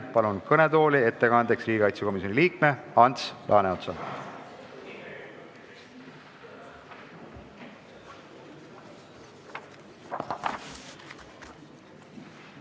Palun ettekandeks kõnetooli riigikaitsekomisjoni liikme Ants Laaneotsa!